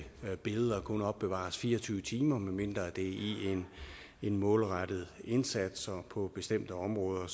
billeder kun må opbevares fire og tyve timer medmindre det er i en målrettet indsats og på bestemte områder